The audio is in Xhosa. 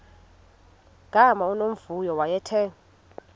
gama unomvuyo wayethe